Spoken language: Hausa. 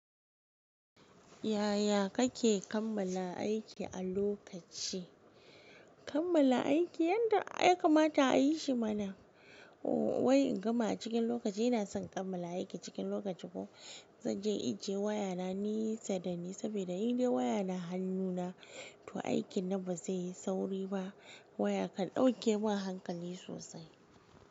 Yaya kake kammala aiki a lokaci? Kammala aiki yanda ya kamata a yi shi mana. O wa'i in gama a cikin lokaci ina son kammala aiki cikin lokaci ko zan je inje waya na nesa dani saboda in dai waya na hannu na to aikin na ba zai yi sauri ba. Wayaka dauke min hankali sosai.